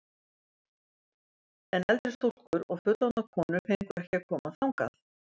En eldri stúlkur og fullorðnar konur fengu ekki að koma þangað.